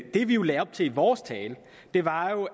at det vi jo lagde op til i vores tale var